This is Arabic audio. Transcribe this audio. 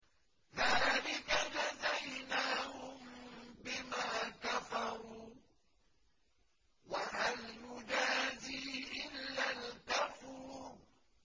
ذَٰلِكَ جَزَيْنَاهُم بِمَا كَفَرُوا ۖ وَهَلْ نُجَازِي إِلَّا الْكَفُورَ